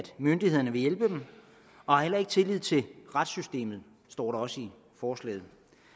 myndighederne vil hjælpe dem og har heller ikke tillid til retssystemet står der også i forslaget